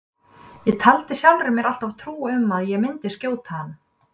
Ég taldi sjálfri mér alltaf trú um að ég myndi skjóta hann.